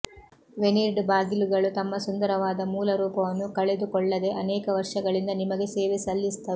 veneered ಬಾಗಿಲುಗಳು ತಮ್ಮ ಸುಂದರವಾದ ಮೂಲ ರೂಪವನ್ನು ಕಳೆದುಕೊಳ್ಳದೆ ಅನೇಕ ವರ್ಷಗಳಿಂದ ನಿಮಗೆ ಸೇವೆ ಸಲ್ಲಿಸುತ್ತವೆ